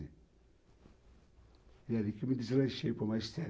E é ali que eu me deslanchei para o magistério.